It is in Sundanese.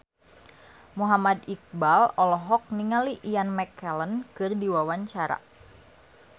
Muhammad Iqbal olohok ningali Ian McKellen keur diwawancara